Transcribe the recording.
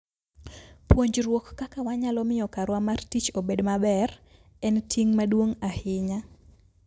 Puonjruok kaka wanyalo miyo karwa mar tich obed maber, en ting' maduong' ahinya.